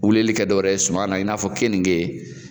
Wulili kɛ dɔwɛrɛ ye suma na i n'a fɔ keninkee